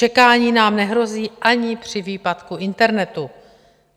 Čekání nám nehrozí ani při výpadku internetu.